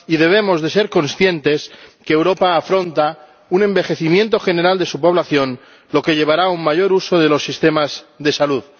Y debemos ser conscientes de que Europa afronta un envejecimiento general de su población, lo que llevará a un mayor uso de los sistemas de salud.